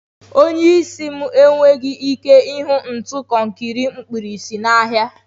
Onye isi m enweghị ike ịhụ ntu konkiri mkpirisi n'ahịa.